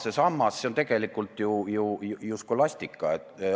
See teema kuulub tegelikult skolastika valdkonda.